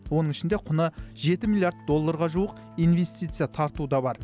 оның ішінде құны жеті миллиард долларға жуық инвестиция тарту да бар